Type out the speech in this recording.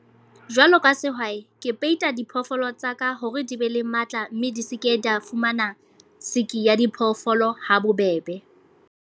Jwalo ka sehwai. Ke peita diphoofolo tsa ka, hore di be le matla. Mme di se ke di ya fumana sick ya diphoofolo ha bobebe.